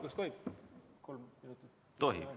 Kas tohib kolm minutit lisaaega?